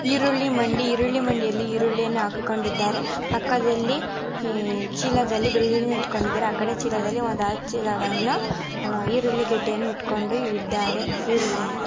ಈರುಳ್ಳಿ ಮಂಡಿ ಈರುಳ್ಳಿ ಮಂಡಿಯಲ್ಲಿ ಈರುಳ್ಳಿಯನ್ನು ಹಾಕಿಕೊಂಡಿದ್ದಾರೆ ಪಕ್ಕದಲ್ಲಿ ಅಹ್ ಚೀಲದಲ್ಲಿ ಬೆಳ್ಳುಳ್ಳಿಯನ್ನು ಇಟ್ಟ್ಕೊಂಡಿದ್ದಾರೆ ಆಕಡೆ ಚೀಲದಲ್ಲಿ ಒಂದ್ ಹತ್ತ್ ಚೀಲವನ್ನು ಅಹ್ ಈರುಳ್ಳಿ ಗೆಡ್ಡೆಯನ್ನು ಇಟ್ಟ್ಕೊಂಡು ಇದ್ದಾರೆ. ಈರುಳ್ಳಿನ --